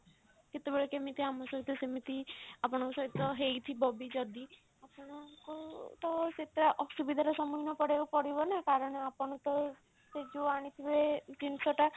କେତେବେଳେ କେମିତି ଆମ ସହିତ ସେମିତି ଆପଣଙ୍କ ସହିତ ହେଇଥିବ ବି ଯଦି ଆପଣଙ୍କ ତ ସେଟା ଅସୁବିଧା ର ସମୁଖୀନ ପଡିବାକୁ ପଡିବ ନା କାରଣ ଆପଣ ସେ ଯଉ ଆଣିଥିବେ ଜିନିଷ ଟା